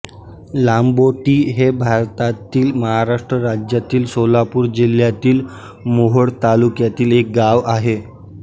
लांबोटी हे भारतातील महाराष्ट्र राज्यातील सोलापूर जिल्ह्यातील मोहोळ तालुक्यातील एक गाव आहे